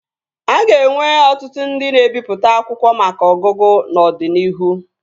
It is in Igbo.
A ga-enwe ọtụtụ ndị na-ebipụta akwụkwọ maka ọgụgụ n'ọdịnihu